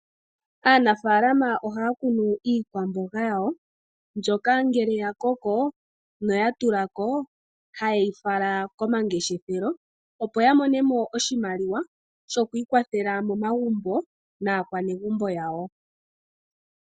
Aanafaalama ohaya kunu iikwamboga yawo, mbyoka ngele ya koko noya tula ko haye yi fala komangeshefelo, opo ya mone mo oshimaliwa shoku ikwatha nasho momagumbo naanegumbo yawo.